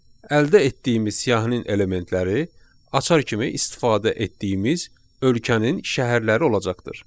Əldə etdiyimiz siyahının elementləri açar kimi istifadə etdiyimiz ölkənin şəhərləri olacaqdır.